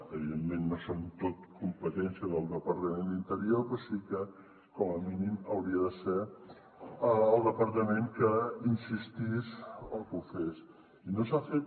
evidentment no són tots competència del departament d’interior però sí que com a mínim hauria de ser el departament que hi insistís o que ho fes i no s’ha fet